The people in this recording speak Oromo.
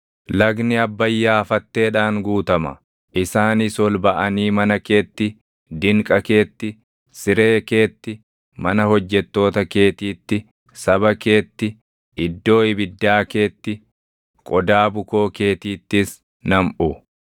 Lagni Abbayyaa fatteedhaan guutuma; isaanis ol baʼanii mana keetti, dinqa keetti, siree keetti, mana hojjettoota keetiitti, saba keetti, iddoo ibiddaa keetti, qodaa bukoo keetiittis namʼu.